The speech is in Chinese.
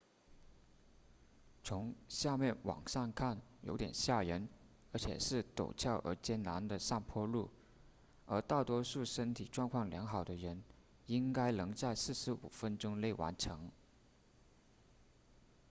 从下面往上看有点吓人而且是陡峭而艰难的上坡路但大多数身体状况良好的人应该能在45分钟内完成